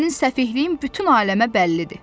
Sənin səfehliyin bütün aləmə bəllidir.